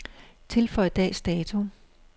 Tilføj dags dato.